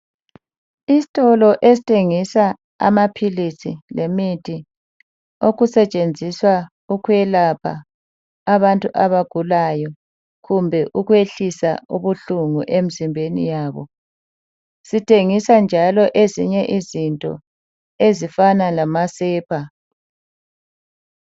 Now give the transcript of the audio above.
Isitolo esithengisa amaphilisi lemithi okusetshenziswa ukuyelapha abantu abagulayo kumbe ukwehlisa ubuhlungu emzimbeni yabo, sithengisa njalo ezinye izinto ezifana lama sepa.